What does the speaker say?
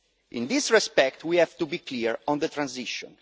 In this respect, we have to be clear on the transition.